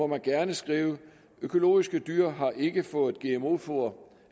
gerne skrive økologiske dyr har ikke fået gmo foder